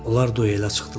Onlar duelə çıxdılar.